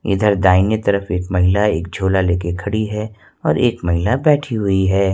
इधर दाहिने तरफ एक महिला एक झोला लेके खड़ी है और एक महिला बैठी हुई है।